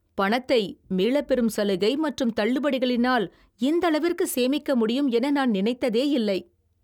பணத்தை மீளப் பெரும் சலுகை மற்றும் தள்ளுபடிகளினால் இந்தளவிற்கு சேமிக்க முடியும் என நான் நினைத்ததேயில்லை.